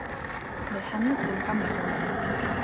Við hendum gamla hjólinu.